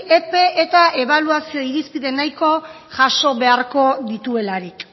epe eta ebaluazio irizpide nahiko jaso beharko dituelarik